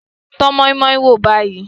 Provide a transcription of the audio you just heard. Tọ́ moi-moi wò báyìí.